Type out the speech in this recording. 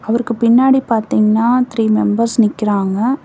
அவருக்கு பின்னாடி பாத்தீங்கன்னா த்ரீ மெம்பர்ஸ் நிக்கிறாங்க.